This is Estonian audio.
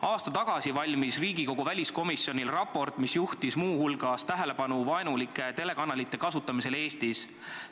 Aasta tagasi valmis Riigikogu väliskomisjonil raport, mis juhtis muu hulgas tähelepanu vaenulike telekanalite kasutamisele Eestis.